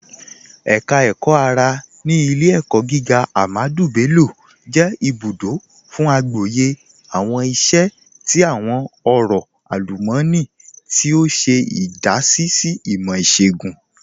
Ẹka Ẹkọ-ara ni Ilẹ̀-ẹ̀kọ̀ gígà Ahmadu Bello jẹ ibùdó fún àgbọ̀yẹ̀ awọn iṣẹ̀ ti awọn ọ̀rọ̀ alumọ̀nì, tí o ṣe idasí sí ìmọ̀ iṣọọ̀gùn.